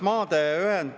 Hea juhataja!